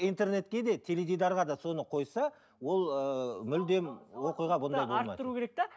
интернетке де теледидарға да соны қойса ол ыыы мүлдем оқиға бұндай болмайды